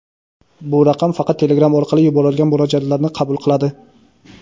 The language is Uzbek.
bu raqam faqat Telegram orqali yuborilgan murojaatlarni qabul qiladi.